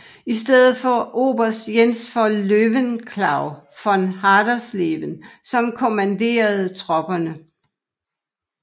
I stedet var det oberst Jens von Löwenklau von Hadersleben som kommanderede tropperne